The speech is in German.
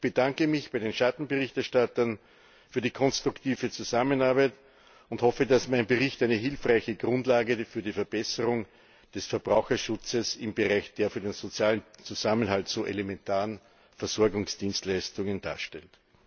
Ich bedanke mich bei den Schattenberichterstattern für die konstruktive Zusammenarbeit und hoffe, dass mein Bericht eine hilfreiche Grundlage für die Verbesserung des Verbraucherschutzes im Bereich der für den sozialen Zusammenhalt so elementaren Versorgungsdienstleistungen darstellt.